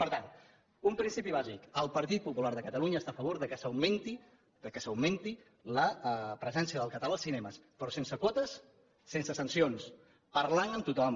per tant un principi bàsic el partit popular de catalunya està a favor que s’augmenti la presència del català als cinemes però sense quotes sense sancions parlant amb tothom